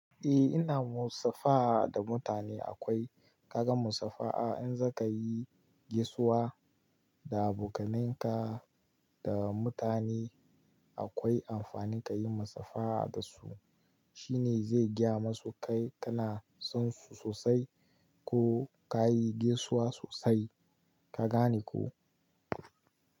Eh ina musafaha da mutane akwai, kaga musafaha in zaka yi gaisuwa da abokanai ka da mutane akwai amfani kayi musafaha dasu shine zai gaya masu kai kana son su sosai ko kayi gaisuwa sosai ka gane ko?